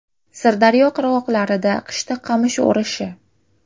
Sirdaryo qirg‘oqlarida qishda qamish o‘rishi.